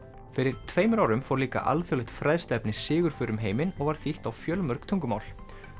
fyrir tveimur árum fór líka alþjóðlegt fræðsluefni sigurför um heiminn og var þýtt á fjölmörg tungumál